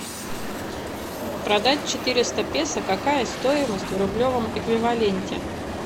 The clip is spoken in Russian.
продать четыреста песо какая стоимость в рублевом эквиваленте